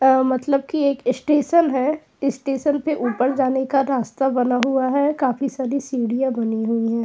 अं मतलब कि एक स्टेशन है। इसटेशन पे ऊपर जाने का रास्ता बना हुआ है। काफी सारी सीढ़ियां बनी हुई हैं।